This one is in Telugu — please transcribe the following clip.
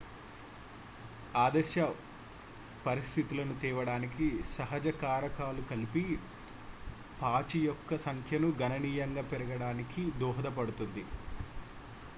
ఆదర్శ పరిస్థితులను తేవడానికి సహజ కారకాలు కలిసి పాచి యొక్క సంఖ్యను గణనీయంగా పెరగడానికి దోహదపడుతుంది